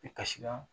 I kasira